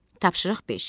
Tapşırıq beş.